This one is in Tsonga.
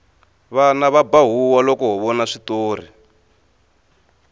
vana va ba huwa loko ho vona switori